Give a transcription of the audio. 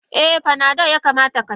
Eh Panado yakamata Kasha.